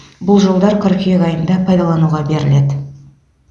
бұл жолдар қыркүйек айында пайдалануға беріледі